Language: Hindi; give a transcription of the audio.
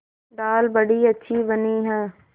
दाल बड़ी अच्छी बनी है